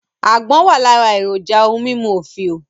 Àgbọ̀n wà lára èròjà ohun mímú òfìò